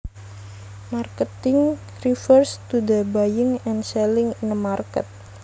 Marketing refers to the buying and selling in a market